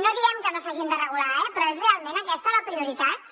no diem que no s’hagin de regular eh però és realment aquesta la prioritat